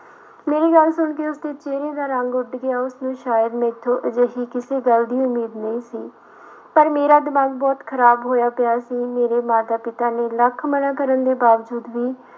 ਮੇਰੀ ਗੱਲ ਸੁਣਕੇ ਉਸਦੇ ਚਿਹਰੇ ਦਾ ਰੰਗ ਉੱਡ ਗਿਆ ਉਸਨੂੰ ਸ਼ਾਇਦ ਮੈਥੋਂ ਅਜਿਹੀ ਕਿਸੀ ਗੱਲ ਦੀ ਉਮੀਦ ਨਹੀਂ ਸੀ ਪਰ ਮੇਰਾ ਦਿਮਾਗ ਬਹੁਤ ਖ਼ਰਾਬ ਹੋਇਆ ਪਿਆ ਸੀ, ਮੇਰੇ ਮਾਤਾ ਪਿਤਾ ਨੇ ਲੱਖ ਮਨਾ ਕਰਨ ਦੇ ਬਾਵਜੂਦ ਵੀ